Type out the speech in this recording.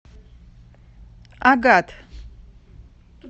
агат